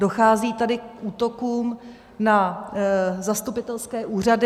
Dochází tady k útokům na zastupitelské úřady.